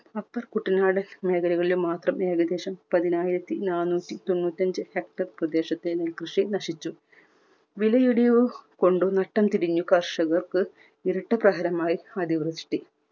upper കുട്ടനാടൻ മേഖലകളിലും മാത്രം ഏകദേശം പതിനായിരത്തി നാനൂറ്റി തൊണ്ണൂറ്റഞ്ചു hectar പ്രദേശത്തെ നെൽകൃഷി നശിച്ചു. വിലയിടിവ് കൊണ്ട് നട്ടം തിരിഞ്ഞു കർഷകർക്ക് ഇരട്ട പ്രഹരമായി അടിവൃഷ്ടി.